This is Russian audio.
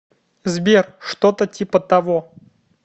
сбер что то типа того